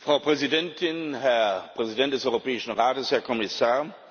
Frau Präsidentin, Herr Präsident des Europäischen Rates, Herr Kommissar!